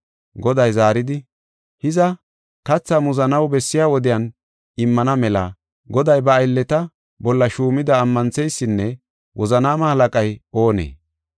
Goday zaaridi, “Hiza, kathaa muzanaw bessiya wodiyan immana mela goday ba aylleta bolla shuumida ammantheysinne wozanaama halaqay oonee?